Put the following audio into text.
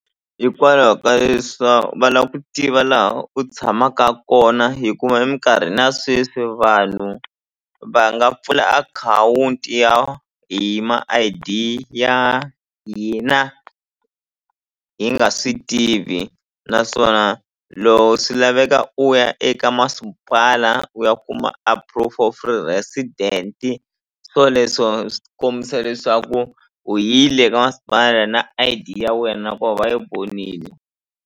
Hikwalaho ka leswa va la ku tiva laha u tshamaka kona hikuva eminkarhini ya sweswi vanhu va nga pfula akhawunti ya hi ma I_D ya hina hi nga swi tivi naswona loko swi laveka u ya eka masipala u ya kuma a proof of resident swoleswo swi kombisa leswaku u yile ka masipala na I_D ya wena ku va va yi vonini.